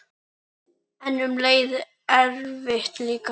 En um leið erfitt líka.